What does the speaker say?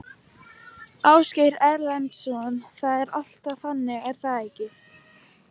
Ásgeir Erlendsson: Það er alltaf þannig er það ekki?